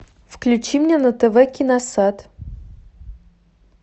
включи мне на тв киносад